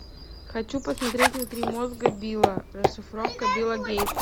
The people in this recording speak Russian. хочу посмотреть внутри мозга билла расшифровка билла гейтса